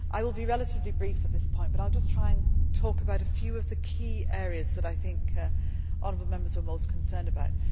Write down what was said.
I will be relatively brief at this point but I will just try to talk about a few of the key areas that I think honourable Members are most concerned about.